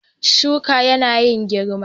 Shukan yana yin girma.